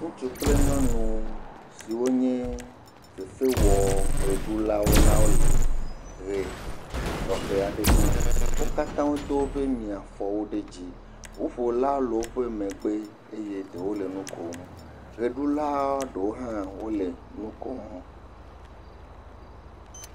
Ŋutsu kple nyɔnu siwo nye fefewɔʋeɖulawo la le ʋe tɔxe aɖe ɖum. Wo katã wodo woƒe miafɔwo ɖe dzi. Ŋuƒola le woƒe megbe eye ɖewo le nu kom. Ʋeɖula ɖewo hã wole nu kom.